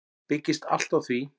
Byggist allt á því.